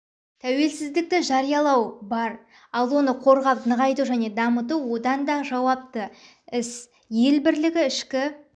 тәуелсіздікті жариялау бар ал оны қорғап нығайту және дамыту одан да жауапты іс ел бірлігі ішкі